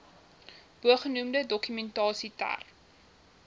bogenoemde dokumentasie ter